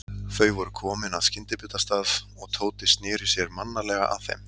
Þau voru komin að skyndibitastað og Tóti sneri sér mannalega að þeim.